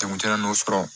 Jagokɛla n'o sɔrɔ